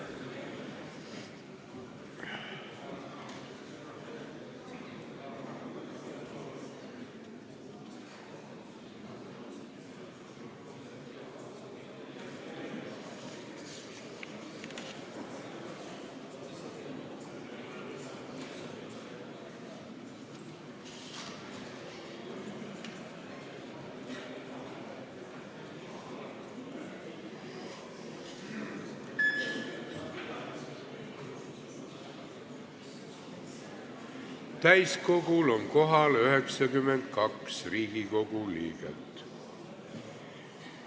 Kohaloleku kontroll Täiskogul on kohal 92 Riigikogu liiget.